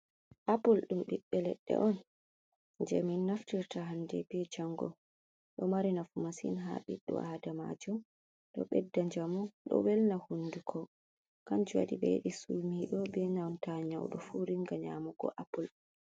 Apull dum biɓbe ledde on je min naftirta hande be jango. Ɗo mari nafu masin ha biddo adamajo. Ɗo beɗɗa jamu, ɗo welna hunɗuko. Kanjum waɗi sumido be nanta nyaudo fu ringa nyamugo Apull.